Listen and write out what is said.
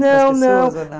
Não, não.